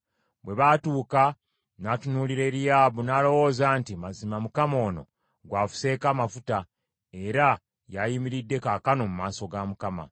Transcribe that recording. Bwe baatuuka n’atunuulira Eriyaabu, n’alowooza nti, “Mazima Mukama ono gw’afuseeko amafuta, era y’ayimiridde kaakano mu maaso ga Mukama .”